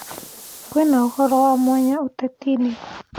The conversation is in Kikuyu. kwĩnaũhoro wa mwanya utetiini